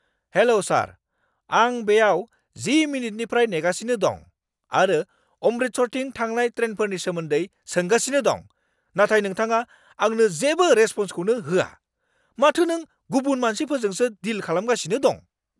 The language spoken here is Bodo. हेल' सार! आं बेयाव 10 मिनिटनिफ्राय नेगासिनो दं आरो अमृतसरथिं थांनाय ट्रेनफोरनि सोमोन्दै सोंगासिनो दं, नाथाय नोंथाङा आंनो जेबो रेसप'न्सखौनो होआ। माथो नों गुबुन मानसिफोरजोंसो डिल खालामगासिनो दं!